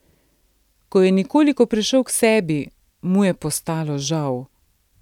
Ko je nekoliko prišel k sebi, mu je postalo žal.